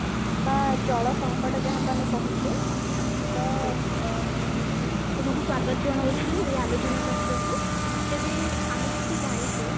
ବା ଜଳ ସଙ୍କଟ ଯାହାକୁ ଆମେ କହୁଛେ ତ ଅ ତୁମକୁ ସ୍ବାଗତ ଜଣାଉଛି ଏଇ ଆଲୋଚନା ଚକ୍ରକୁ ତ ତେବେ ଆମେ ଯେମିତି ଜାଣିଛେ